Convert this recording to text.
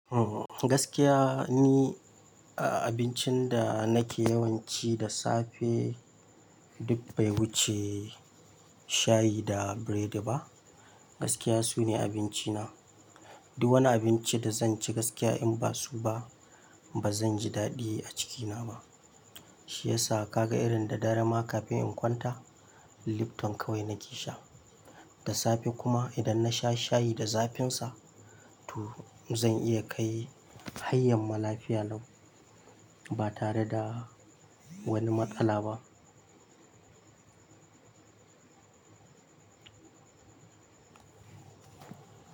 Ohm gaskiya ni a-abincin da nake yawan ci da safe duk bai wuce shayi da biredi ba. Gaskiya sune abinci na. Duk wani abinci da zan ci gaskiya in ba su ba ba zan ji daɗi a cikina ba. Shi yasa ka ga irin da dare ma kafin in kwanta, Lipton kawai na ke sha. Da safe kuma idan na sha shayi da zafin sa, to zan iya kai hai yanma lafiya lau ba tare da wani matsala ba.